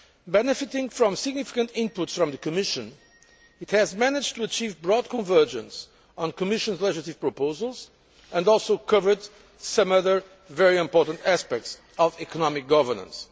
Benefiting from significant inputs from the Commission, it has managed to achieve broad convergence on the Commission's legislative proposals, and also covered some other very important aspects of economic governance.